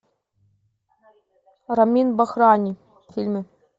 рамин бахрани фильмы